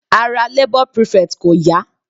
Ara labour prefect kò yá.